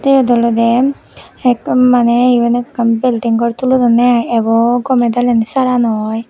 siyot olode ekdom maney iben ekkan bilding gor tulodonne ai ebo gome dale sara no oi.